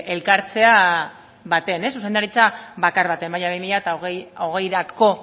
elkartzea batean zuzendaritza bakar batean baina bi mila hogeirako